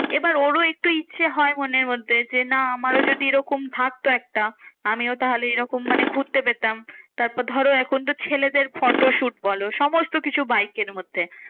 এবার ওরও একটু ইচ্ছে হয় মনের মধ্যে যে, না আমারও যদি এরকম থাকতো একটা আমিও তাহলে এরকম মানে ঘুরতে পেতাম। তারপর ধরো এখন তো ছেলেদের photo shoot বলো সমস্ত কিছু বাইকের মধ্যে।